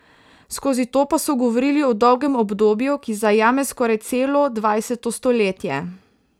Skozi to pa so govorili o dolgem obdobju, ki zajame skoraj celo dvajseto stoletje.